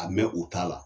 A mɛ u t'a la